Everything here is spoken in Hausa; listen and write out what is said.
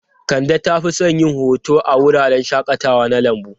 Kande ta fi son yin hoto a wuraren shakatawa na lambu.